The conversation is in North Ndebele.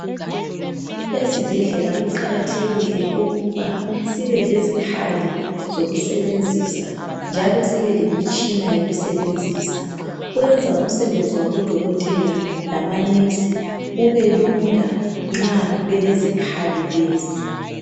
Ezibhedlela kuqakathekile ukuba sibelezikhali zokusebenzisa njalo sibe lemitshina yokusebenzisa. Kwenza umsebenzi wabo dokotela lama"nurse" ubelula nxa belezikhali lezi.